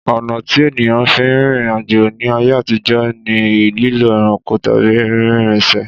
Ọ̀nà tí ènìyàn fi ń rìnrìn àjò ní ayé àtijó ni lílo ẹranko tàbí rínrrinṣẹ̀